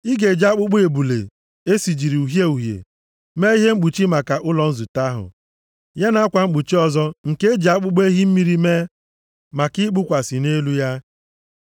Ị ga-eji akpụkpọ ebule e sijiri uhie uhie mee ihe mkpuchi maka ụlọ nzute ahụ, ya na akwa mkpuchi ọzọ nke e ji akpụkpọ ehi mmiri mee maka ikpukwasị nʼelu ya.